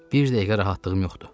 Bir dəqiqə rahatlığım yoxdur.